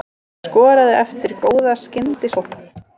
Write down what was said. Hann skoraði eftir góða skyndisókn.